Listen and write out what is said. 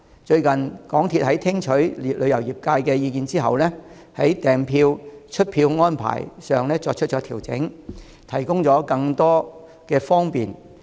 最近，香港鐵路有限公司在聽取旅遊業界的意見後，已在訂票和出票安排上作出調整，提供更多的方便。